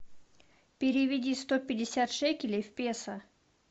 переведи сто пятьдесят шекелей в песо